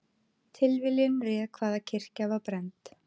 Tilviljun réð hvaða kirkja var brennd